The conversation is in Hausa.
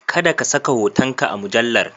Kada ka saka hotonka a mujallar.